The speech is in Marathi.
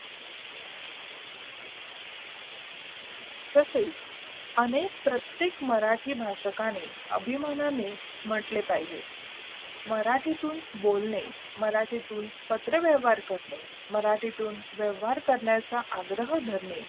तसेच अनेक प्रत्येक मराठी भाषाकणे आणि अभिमानाने म्हटले पाहिजे मराठीतून बोलणे मराठीतून पत्रव्यवहार करणे मराठीतून व्यवहार करण्याचा आग्रह करणे